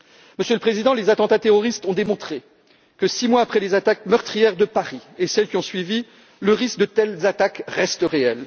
Monsieur le Président, les attentats terroristes ont démontré que six mois après les attaques meurtrières de Paris et celles qui ont suivi, le risque de telles attaques reste